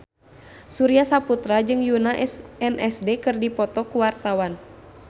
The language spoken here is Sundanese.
Surya Saputra jeung Yoona SNSD keur dipoto ku wartawan